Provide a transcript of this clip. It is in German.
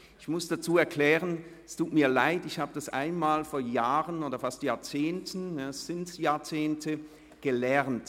Ich muss dazu erklären, dass ich diese Sprechweise vor Jahrzehnten gelernt habe.